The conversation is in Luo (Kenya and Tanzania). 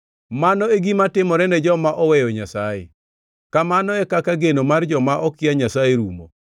Mano e gima timore ne joma oweyo Nyasaye; kamano e kaka geno mar joma okia Nyasaye rumo.